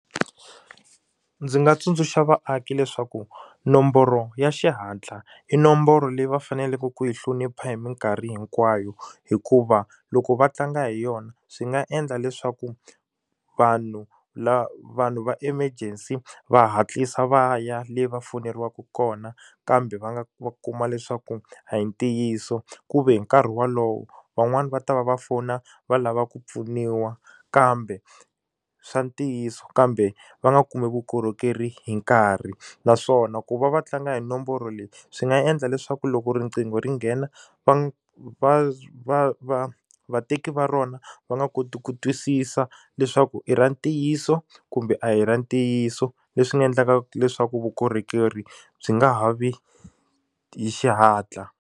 Ndzi nga tsundzuxa vaaki leswaku nomboro ya xihatla i nomboro leyi va faneleke ku yi hlonipha hi mikarhi hinkwayo hikuva loko va tlanga hi yona swi nga endla leswaku vanhu va vanhu va emergency va hatlisa va ya le va foyineriwaka kona kambe va nga kuma leswaku a hi ntiyiso ku ve hi nkarhi wolowo van'wani va ta va va fona va lava ku pfuniwa kambe swa ntiyiso kambe va nga kumi vukorhokeri hi nkarhi naswona ku va va tlanga hi nomboro leyi swi nga endla leswaku loko riqingho ri nghena va va va va va vateki va rona va nga koti ku twisisa leswaku i ra ntiyiso kumbe a hi ra ntiyiso leswi nga endlaka leswaku vukorhokeri byi nga ha vi hi xihatla.